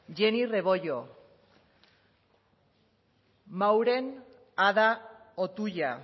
jenny rebollo mauren ada otuya